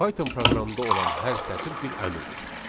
Python proqramında olan hər sətir bir əmrdir.